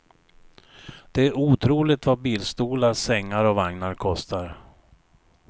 Det är otroligt vad bilstolar, sängar och vagnar kostar.